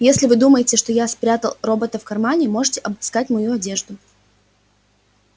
если вы думаете что я спрятал робота в кармане можете обыскать мою одежду